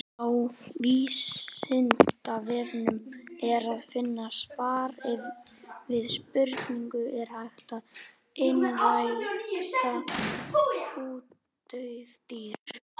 Á Vísindavefnum er að finna svar við spurningunni Er hægt að einrækta útdauð dýr?